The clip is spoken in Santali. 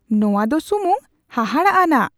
ᱱᱚᱶᱟ ᱫᱚ ᱥᱩᱢᱩᱝ ᱦᱟᱦᱟᱲᱟᱜ ᱟᱱᱟᱜ !